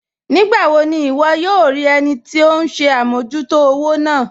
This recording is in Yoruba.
Nígbàwò ní wọ́ yòò rí ẹnì tí ọ̀hun ṣẹ̀ àmọ̀jútò òwò náà?